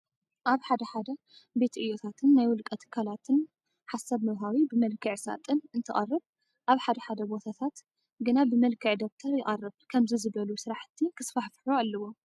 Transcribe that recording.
ኣብ ሓደ ሓደ ቤት ዕዮታትን ናይ ውልቀ ትካላትን ሃሳብ መውሃቢ ብመልክዕ ሳጥን እንትቀርብ ኣብ ሓደ ሓደ ቦታታት ግና ብመልክዕ ደብተር ይቀርብ። ከምዚ ዝበሉ ስራሕቲ ክስፋሕፍሑ ኣለዎም።